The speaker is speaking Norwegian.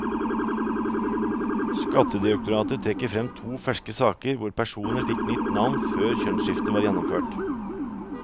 Skattedirektoratet trekker frem to ferske saker hvor personer fikk nytt navn før kjønnsskiftet var gjennomført.